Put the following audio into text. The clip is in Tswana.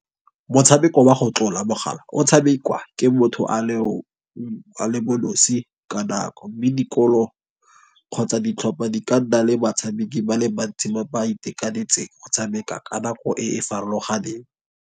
Motshameko wa go tlola mogala o tshamekwa ke motho a le bo nosi ka nako. Mme dikolo kgotsa ditlhopha di ka nna le batshameki ba le bantsi ba itekanetseng go tshameka ka nako e e farologaneng.